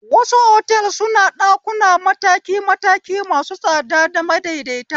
Wasu otal suna ɗakuna mataki mataki masu tsada da madaidaita